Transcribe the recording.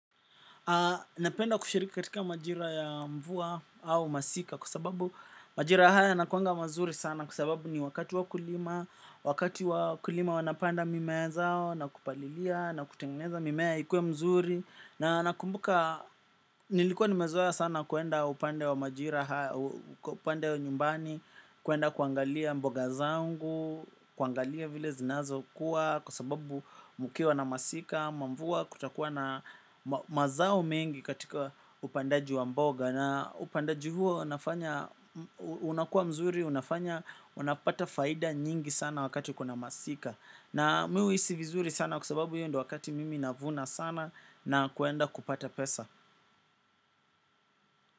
Napenda kushirika katika majira ya mvua au masika kwa sababu majira haya yakuwaanga mazuri sana kwa sababu ni wakati wa kulima, wakati wa kulima wanapanda mimea zao na kupalilia na kutengeneza mimea ikuwe mzuri. Na nakumbuka nilikuwa nimezoa sana kuenda upande wa majira haya, upande wa nyumbani. Kuenda kuangalia mboga zangu, kuangalia vile zinazo kuwa kwa sababu mkiwa na masika, ama mvua kutakuwa na mazao mengi katika upandaji wa mboga. Na upandaji huo na fanya unakua mzuri, unapata faidha nyingi sana wakati kuna masika. Na mi huu hisi vizuri sana kwa sababu hiyo ndo wakati mimi navuna sana na kuenda kupata pesa.